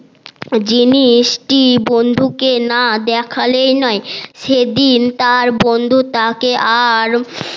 জিনিসটি বন্ধুকে না দেখালেই নয় সেদিন তার বন্ধু তা কে আর